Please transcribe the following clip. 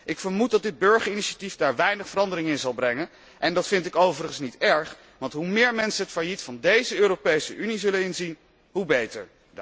Ik vermoed dat dit burgerinitiatief daar weinig verandering in zal brengen en dat vind ik overigens niet erg, want hoe meer mensen het failliet van deze Europese Unie zullen inzien, hoe beter.